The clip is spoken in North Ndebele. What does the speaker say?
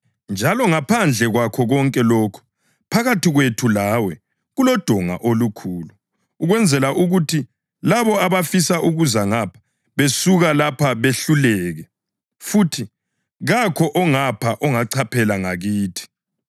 Njalo ngaphandle kwakho konke lokhu, phakathi kwethu lawe kulodonga olukhulu, ukwenzela ukuthi labo abafisa ukuza ngapho besuka lapha behluleke, futhi kakho ongapho ongachaphela ngakithi.’